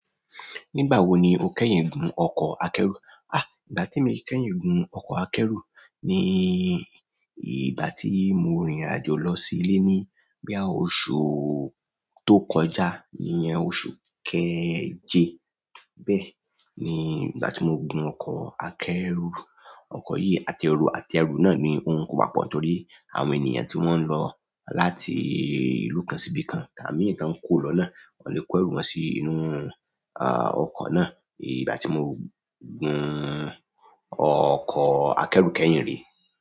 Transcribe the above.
Nígbà wo ni o kẹ́yìn gun ọkọ̀ akẹ́rù? Ìgbà temi kẹ́yìn gun ọkọ̀ akẹ́rù ni ìgbà tí mo rìnrìn àjò lọ sí ilé ní bóyá oṣù tó kọjá. Iyẹn oṣù kẹjẹ bẹ́ẹ̀ ni ìgbà tí mo gun ọkọ̀ akẹ́rù. Ọkọ̀ yìí atẹru, àti ẹrù náà ni ò n kò wapọ̀ torí àwọn ènìyàn tí wọ́n ń lọ láti ìlú kan sí ibìkan, àti àwọn imi tan kò lọ náà, o le kó ẹrú wọn sí inú, ọkọ̀ náà. Ìgbà tí mo gun ọkọ̀ akẹ́rù kẹ́yìn re.